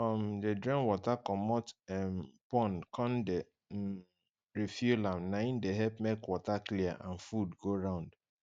if you um de drain water comot um pond con de um refill am nai de help make water clear and food go round